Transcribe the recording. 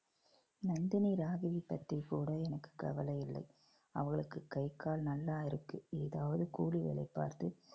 நந்தினி ராகவி பத்திக் கூட எனக்கு கவலை இல்லை அவளுக்கு கை கால் நல்லா இருக்கு ஏதாவது கூலி வேலை பார்த்து